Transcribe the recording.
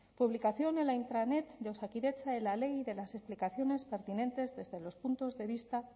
publicación en la intranet de osakidetza de la ley y de las explicaciones pertinentes desde los puntos de vista